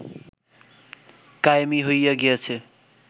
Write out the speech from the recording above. কায়েমি হইয়া গিয়াছে